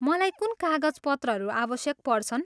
मलाई कुन कागजपत्रहरू आवश्यक पर्छन्?